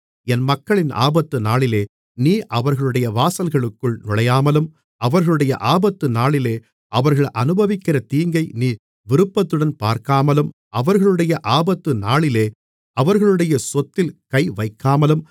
என் மக்களின் ஆபத்து நாளிலே நீ அவர்களுடைய வாசல்களுக்குள் நுழையாமலும் அவர்களுடைய ஆபத்துநாளிலே அவர்கள் அநுபவிக்கிற தீங்கை நீ விருப்பத்துடன் பார்க்காமலும் அவர்களுடைய ஆபத்துநாளிலே அவர்களுடைய சொத்தில் கைவைக்காமலும்